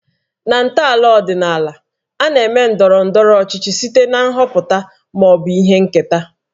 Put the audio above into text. Na ntọala ọdịnaala, a na-eme ndọrọ ndọrọ ọchịchị site na nhọpụta ma ọ bụ ihe nketa